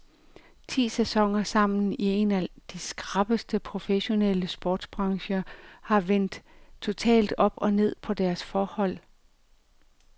Ti sæsoner sammen i en af de skrappeste professionelle sportsbrancher har vendt totalt op og ned på deres forhold.